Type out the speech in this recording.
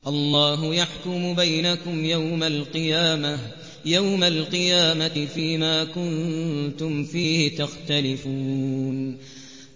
اللَّهُ يَحْكُمُ بَيْنَكُمْ يَوْمَ الْقِيَامَةِ فِيمَا كُنتُمْ فِيهِ تَخْتَلِفُونَ